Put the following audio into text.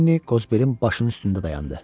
Lenni Qozbelin başının üstündə dayandı.